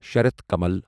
شارتھ کمل